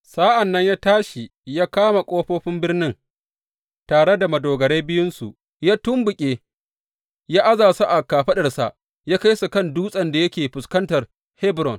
Sa’an nan ya tashi ya kama ƙofofin birnin, tare da madogarai biyunsu, ya tumɓuke, ya aza su a kafaɗarsa, ya kai su kan dutsen da yake a fuskantar Hebron.